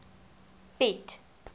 piet